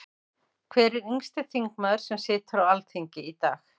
Hver er yngsti þingmaður sem situr á Alþingi í dag?